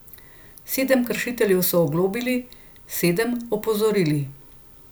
Sedem kršiteljev so oglobili, sedem opozorili.